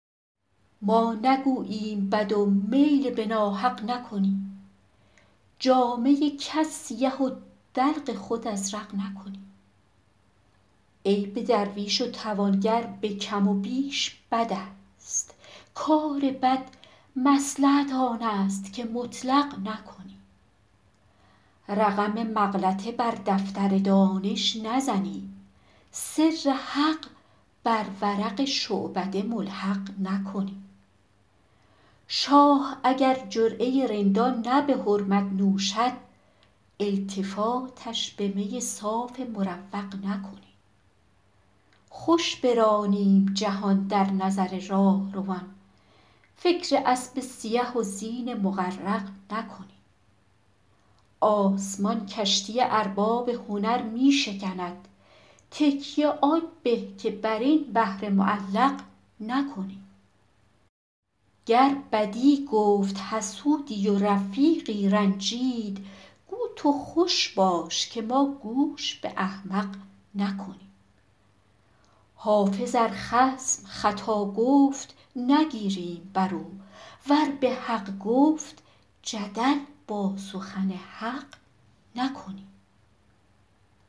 ما نگوییم بد و میل به ناحق نکنیم جامه کس سیه و دلق خود ازرق نکنیم عیب درویش و توانگر به کم و بیش بد است کار بد مصلحت آن است که مطلق نکنیم رقم مغلطه بر دفتر دانش نزنیم سر حق بر ورق شعبده ملحق نکنیم شاه اگر جرعه رندان نه به حرمت نوشد التفاتش به می صاف مروق نکنیم خوش برانیم جهان در نظر راهروان فکر اسب سیه و زین مغرق نکنیم آسمان کشتی ارباب هنر می شکند تکیه آن به که بر این بحر معلق نکنیم گر بدی گفت حسودی و رفیقی رنجید گو تو خوش باش که ما گوش به احمق نکنیم حافظ ار خصم خطا گفت نگیریم بر او ور به حق گفت جدل با سخن حق نکنیم